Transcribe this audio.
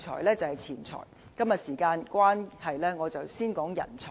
今天由於時間關係，我先談人才。